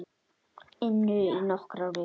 inu í nokkrar vikur.